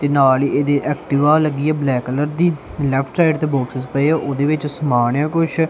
ਤੇ ਨਾਲ ਹੀ ਇਹਦੇ ਐਕਟਿਵਾ ਲੱਗੀ ਐ ਬਲੈਕ ਕਲਰ ਦੀ ਲੇਫ਼੍ਟ ਸਾਈਡ ਤੇ ਬਾਕਸਿਸ ਪਏ ਆ ਉਹਦੇ ਵਿੱਚ ਸਮਾਨ ਐ ਆ ਕੁੱਛ।